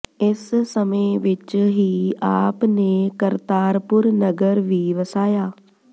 ਇਸ ਸਮੇਂ ਵਿੱਚ ਹੀ ਆਪ ਨੇ ਕਰਤਾਰਪੁਰ ਨਗਰ ਵੀ ਵਸਾਇਆ